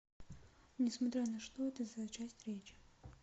несмотря на что это за часть речи